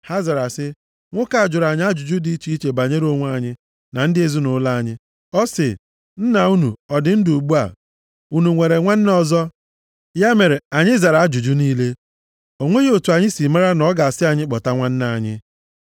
Ha zara sị, “Nwoke a jụrụ anyị ajụjụ dị iche iche banyere onwe anyị, na ndị ezinaụlọ anyị. Ọ sị, ‘Nna unu, ọ dị ndụ ugbu a? Unu nwere nwanne ọzọ?’ Ya mere, anyị zara ajụjụ niile. O nweghị otu anyị siri mara na ọ ga-asị anyị kpọta nwanne anyị.”